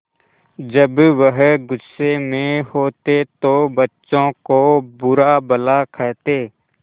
जब वह गुस्से में होते तो बच्चों को बुरा भला कहते